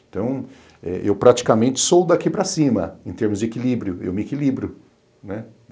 Então, eh eu praticamente sou daqui para cima, em termos de equilíbrio, eu me equilibro, né?